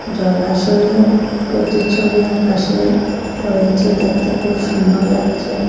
জলাশয়ে প্রতিচ্ছবি আকাশের পড়েছে দেখতে খুব সুন্দর লাগছে।